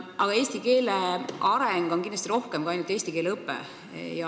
Aga eesti keele arendamine hõlmab kindlasti rohkemat kui ainult eesti keele õpetamist.